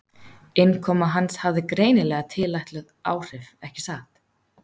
Innkoma hans hafði greinilega tilætluð áhrif- ekki satt?